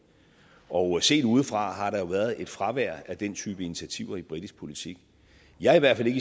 og set udefra har der jo været et fravær af den type initiativer i britisk politik jeg er i hvert fald